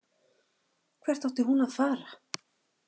Hvert átti hún að fara?